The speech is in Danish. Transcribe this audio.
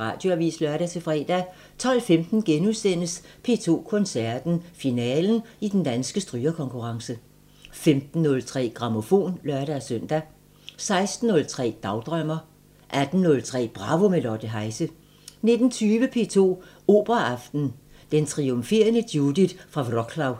Radioavisen (lør-fre) 12:15: P2 Koncerten – Finalen i Den Danske Strygerkonkurrence * 15:03: Grammofon (lør-søn) 16:03: Dagdrømmer 18:03: Bravo – med Lotte Heise 19:20: P2 Operaaften – Den triumferende Judith fra Wroclaw